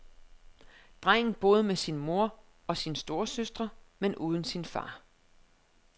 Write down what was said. Drengen boede med sin mor og sine storesøstre, men uden sin far.